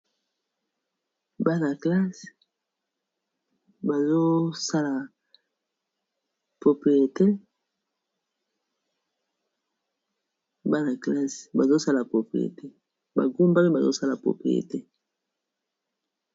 Bana classe bangumami bazosala propreté.